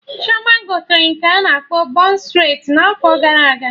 Chioma gotere nke a na-akpọ bon streti n'afọ gara aga